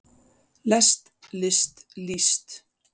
lest list líst